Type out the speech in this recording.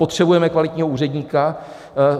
Potřebujeme kvalitního úředníka.